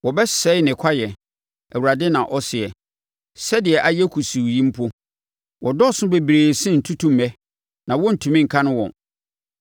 Wɔbɛsɛe ne kwaeɛ,” Awurade na ɔseɛ, “sɛdeɛ ayɛ kusuu yi mpo. Wɔdɔɔso bebree sene ntutummɛ, na wɔrentumi nkane wɔn.